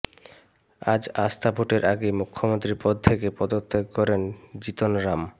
আজ আস্থা ভোটের আগেই মুখ্যমন্ত্রীপদ থেকে পদত্যাগ করেন জিতন রাম